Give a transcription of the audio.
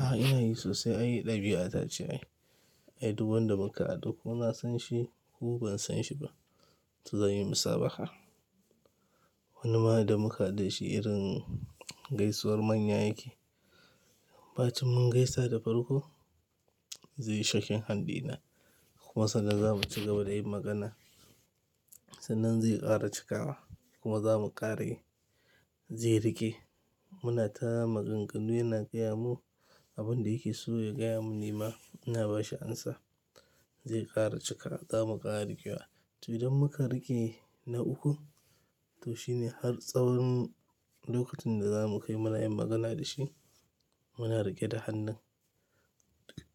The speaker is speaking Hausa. A'a ina yi sosai, ai ɗabi'a ta ce ai. Ai duk wanda muka haɗu ko na san shi ko ban san shi ba, to zan yi musabaha. Wani ma da muka haɗu da shi irin gaisuwar manya yake. Ba cin mun gaisa da farko, zai yi shaking hand dina. Kuma sannan za mu cigaba da yin magana. Sannan zai ƙara cikawa kuma za mu ƙara yi, zai riƙe. Muna ta maganganu yana gaya mu abun da yake so ya gaya mun nema. Ina bashi amsa, zai ƙara cika za mu ƙara riƙewa. To idan muka riƙe na uku, to shine har tsawon lokacin da za mu kai mana yin magana da shi, muna riƙe da hannun